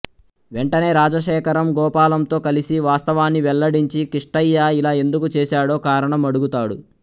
వెంటనే రాజశేఖరం గోపాలంతో కలిసి వాస్తవాన్ని వెల్లడీంచి కిష్టయ్య ఇలా ఎందుకు చేసాడో కారణం అడుగుతాడు